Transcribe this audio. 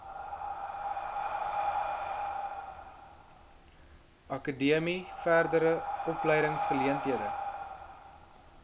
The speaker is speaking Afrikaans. akademie verdere opleidingsgeleenthede